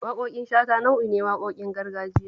Waƙoƙin shata nau'i ne waƙoƙin gargajiya